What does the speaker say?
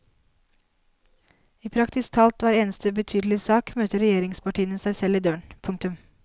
I praktisk talt hver eneste betydelig sak møter regjeringspartiene seg selv i døren. punktum